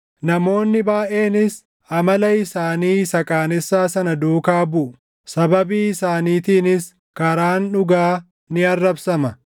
Namoonni baayʼeenis amala isaanii isa qaanessaa sana duukaa buʼu; sababii isaaniitiinis karaan dhugaa ni arrabsama.